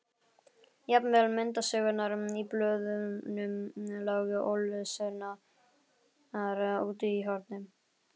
Jafnvel myndasögurnar í blöðunum lágu ólesnar úti í horni.